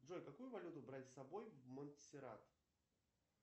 джой какую валюту брать с собой в монтсеррат